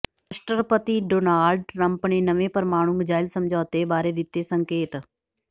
ਰਾਸ਼ਟਰਪਤੀ Donald Trump ਨੇ ਨਵੇਂ ਪ੍ਰਮਾਣੂ ਮਿਜ਼ਾਈਲ ਸਮਝੌਤੇ ਬਾਰੇ ਦਿੱਤੇ ਸੰਕੇਤ